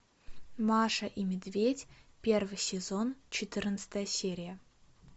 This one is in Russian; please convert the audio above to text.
маша и медведь первый сезон четырнадцатая серия